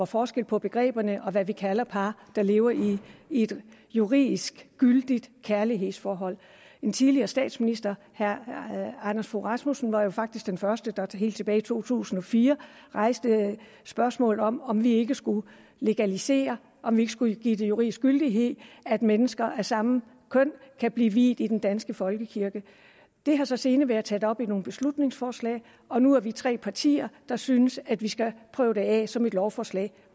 forskel på begreberne og på hvad vi kalder par der lever i et juridisk gyldigt kærlighedsforhold en tidligere statsminister herre anders fogh rasmussen var jo faktisk den første der helt tilbage i to tusind og fire rejste spørgsmålet om om vi ikke skulle legalisere om vi ikke skulle give det juridisk gyldighed at mennesker af samme køn kan blive viet i den danske folkekirke det har så senere været taget op i nogle beslutningsforslag og nu er vi tre partier der synes at vi skal prøve det af som et lovforslag